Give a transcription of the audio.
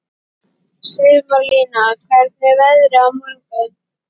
Sumarlína, hvernig er veðrið á morgun?